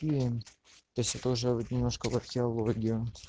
я себе тоже немножко в археологии